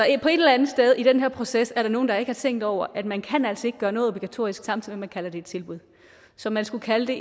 et eller andet sted i den her proces er der nogen der ikke har tænkt over at man kan altså ikke gøre noget obligatorisk samtidig med kalder det et tilbud så man skulle kalde